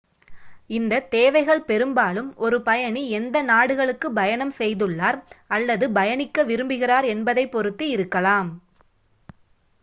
இந்த தேவைகள் பெரும்பாலும் ஒரு பயணி எந்த நாடுகளுக்கு பயணம் செய்துள்ளார் அல்லது பயணிக்க விரும்புகிறார் என்பதைப் பொறுத்து இருக்கலாம்